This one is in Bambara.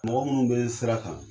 Mɔgɔ munnu be sira kan